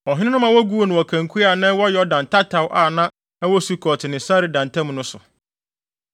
Ɔhene no ma woguu no wɔ kankua a na ɛwɔ Yordan tataw a na ɛwɔ Sukot ne Sereda ntam no so.